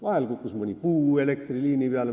Vahel kukkus mõni puu elektriliini peale.